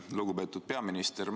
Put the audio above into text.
Lugupeetud peaminister!